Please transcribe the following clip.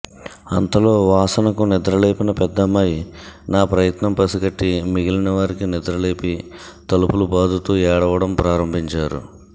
అంతలో వాసనకు నిద్రలేపిన పెద్దమ్మాయి నా ప్రయత్నం పసిగట్టి మిగిలిన వారికి నిద్రలేపి తలుపులు బాదుతూ ఏడవడం ప్రారంభించారు